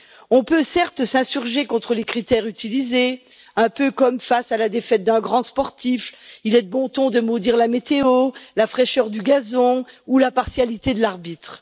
On peut certes s'insurger contre les critères utilisés, un peu comme face à la défaite d'un grand sportif il est de bon ton de maudire la météo, la fraîcheur du gazon ou la partialité de l'arbitre.